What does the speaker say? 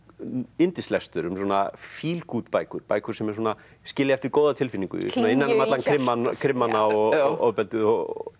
yndislestur um svona feel good bækur bækur sem skilja eftir góða tilfinningu innan um krimmana og ofbeldið og